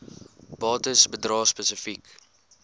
bates bedrae spesifiek